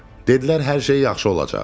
Dedilər, hər şey yaxşı olacaq.